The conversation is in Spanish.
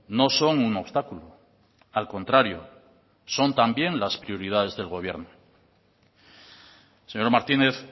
no son un obstáculo al contrario son también las prioridades del gobierno señor martínez